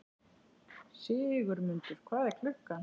Sigurmundur, hvað er klukkan?